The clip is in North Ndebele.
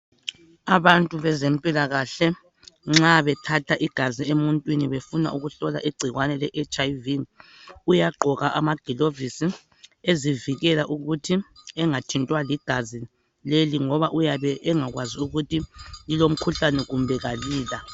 Abantu bezempilakahle nxa bethatha igazi emuntwini befuna ukuhlola igcikwane le hiv uyagqoka amagilovisi ezivikela ukuthi engathintwa ligazi leli ngoba uyabe engakwazi ukuthi lilomkhuhlani kumbe alila.